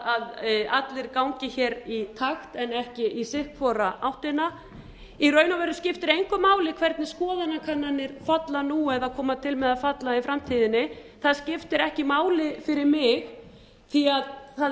að allir gangi hér í takt en ekki hver í sína áttina í raun og veru skiptir engu máli hvernig skoðanakannanir falla nú eða koma til með að falla í framtíðinni það skiptir ekki máli fyrir mig því að það er